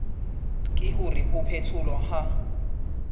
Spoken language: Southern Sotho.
ke hore ho phetholwa ha